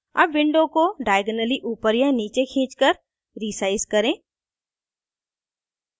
अब window को diagonally ऊपर या नीचे खींचकर रीसाइज करें